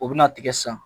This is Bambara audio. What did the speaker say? O bɛna tigɛ san